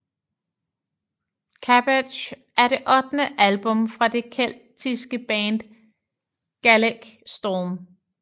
Cabbage er det ottende album fra det keltiske band Gaelic Storm